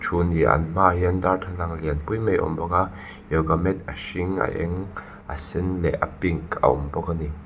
an hma ah hian darthlalang lian pui mai a awm bawk a yoga mat a hring a eng a sen leh a pink a awm bawk a ni.